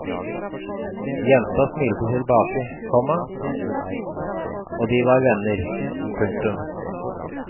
Jenta smilte tilbake, komma og de var venner. punktum